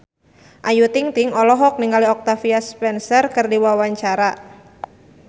Ayu Ting-ting olohok ningali Octavia Spencer keur diwawancara